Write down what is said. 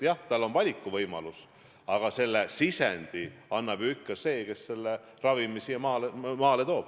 Jah, tal on valikuvõimalus, aga sisendi annab ju ikka see, kes ravimi Eestisse toob.